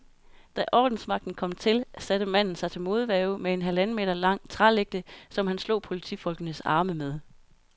Da ordensmagten kom til, satte manden sig til modværge med en halvanden meter lang trælægte, som han slog politifolkenes arme med.